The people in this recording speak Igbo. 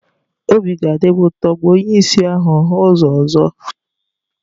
Obi ga-adị m ụtọ ma onye ìsì ahụ hụ ụzọ ọzọ.